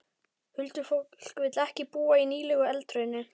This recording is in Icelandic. Huldufólk vill ekki búa í nýlegu eldhrauni.